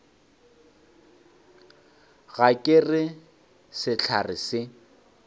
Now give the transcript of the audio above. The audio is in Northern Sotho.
ga ke re sehlare se